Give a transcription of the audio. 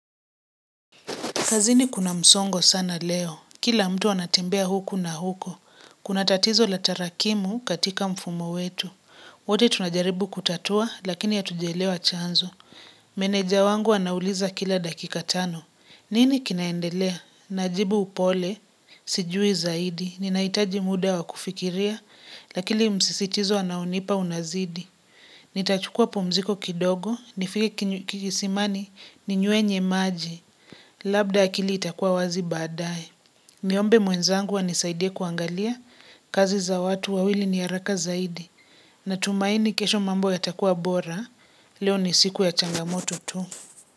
Kazini kuna msongo sana leo. Kila mtu anatembea huku na huku Kuna tatizo la tarakimu katika mfumo wetu. Wote tunajaribu kutatua, lakini hatujaelewa chanzo. Meneja wangu anauliza kila dakika tano. "Nini kinaendelea?" Najibu upole, "Sijui zaidi" Ninahitaji muda wa kufikiria, lakini msisitizo anaonipa unazidi. Nitachukua pumziko kidogo, nifike kisimani ni nyuenye maji, labda akili itakuwa wazi baadaye. Niombe mwenzangu anisaidia kuangalia, kazi za watu wawili ni haraka zaidi. Natumaini kesho mambo yatakua bora, leo ni siku ya changamoto tu.